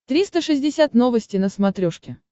триста шестьдесят новости на смотрешке